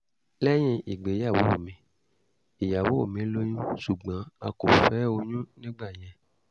lẹ́yìn ìgbéyàwó mi ìyàwó mi lóyún ṣùgbọ́n a kò fẹ́ oyún nígbà yẹn